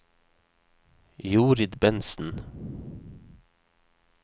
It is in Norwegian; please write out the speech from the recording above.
Jorid Bentsen